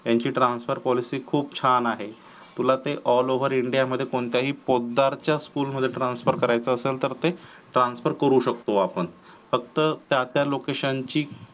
त्यांची transfer policy खूप छान आहे तुला ते all over india मध्ये कोणत्या ही पोतदार च्या school मध्ये transfer करायचे असेल तर ते transfer करू शकतो आपण फक्त त्या त्या location ची